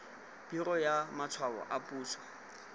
biro ya matshwao a puso